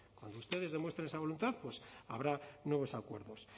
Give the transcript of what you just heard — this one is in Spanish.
cuando ustedes demuestren esa voluntad pues habrá nuevos acuerdos